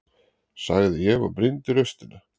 sagði ég og brýndi raustina.